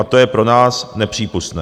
A to je pro nás nepřípustné.